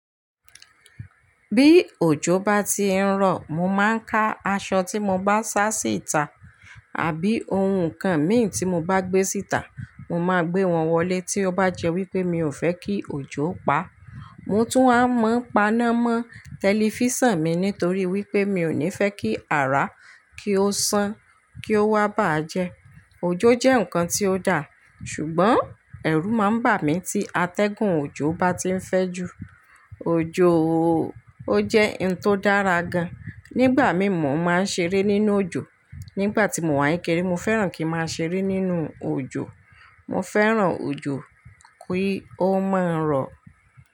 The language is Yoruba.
Bí òjò bá ti ń rọ̀, mo máa ń ká aṣọ tí mo bá sá síta àbí ohun kan mì tí mo bá gbé síta. Mo máa gbe wọn wọlé tí ó bá jẹ́ wípé mi ò fẹ́ kí òjò pa. Mo tún waá máa n paná mọ́ tẹlifísàn mi nítorí wípé mi ò ní fẹ́ kí ara kí ó san kí ó wá bàá jẹ. Òjó jẹ́ nǹkan tí ó daà, ṣùgbọ́n ẹ̀rù máa ń bà mí tí atẹ́gùn òjò bá ti ń fẹ́ ju. Òjó oóó, ó jẹ́ in tó dára gan. Nígbà mií mọ̀ọ́ máa ń ṣeré nínú òjò. Nígbà tí mo wá ń kekéré mo fẹ́ràn kí n máa ṣeré nínú òjò. Mo fẹ́ràn òjò kí ó máa rọ̀